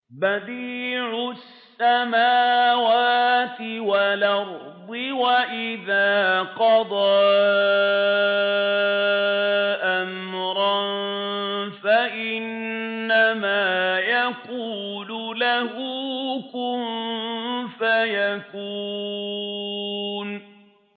بَدِيعُ السَّمَاوَاتِ وَالْأَرْضِ ۖ وَإِذَا قَضَىٰ أَمْرًا فَإِنَّمَا يَقُولُ لَهُ كُن فَيَكُونُ